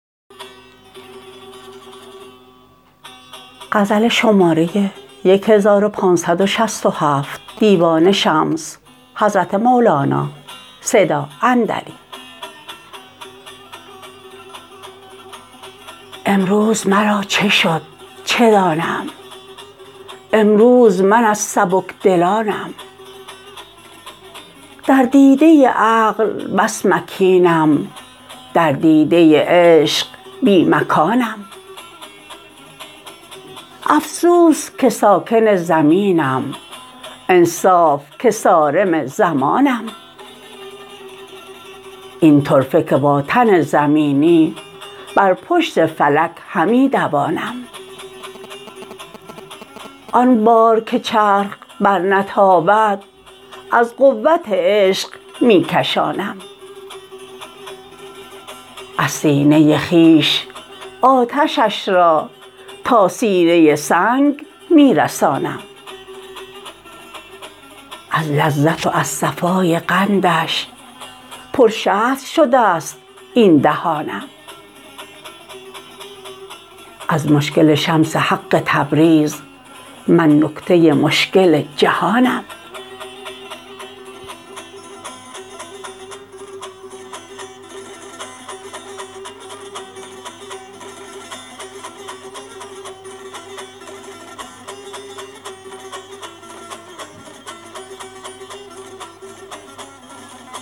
امروز مرا چه شد چه دانم امروز من از سبک دلانم در دیده عقل بس مکینم در دیده عشق بی مکانم افسوس که ساکن زمینم انصاف که صارم زمانم این طرفه که با تن زمینی بر پشت فلک همی دوانم آن بار که چرخ برنتابد از قوت عشق می کشانم از سینه خویش آتشش را تا سینه سنگ می رسانم از لذت و از صفای قندش پر شهد شده ست این دهانم از مشکل شمس حق تبریز من نکته مشکل جهانم